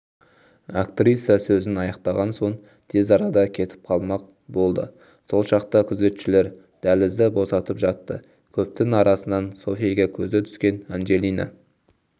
актриса сөзін аяқтаған соң тез арада кетіп қалмақ болды сол шақта күзетшілер дәлізді босатып жатты көптің арасынан софиге көзі түскен анджелина